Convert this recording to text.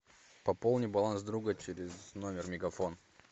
пополни баланс друга через номер мегафон